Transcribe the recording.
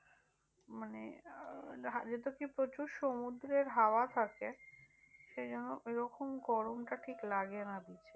মানে আহ যেহেতু কি প্রচুর সমুদ্রের হাওয়া থাকে। সেইজন্য ওইরকম গরমটা ঠিক লাগেনা beach এ